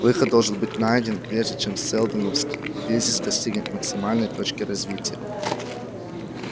выход должен быть найден прежде чем сэлдоновский кризис достигнет максимальной точки развития